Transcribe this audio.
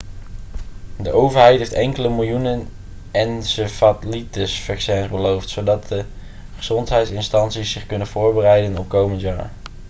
de overheid heeft enkele miljoenen encefalitisvaccins beloofd zodat gezondheidsinstanties zich kunnen voorbereiden op komend jaar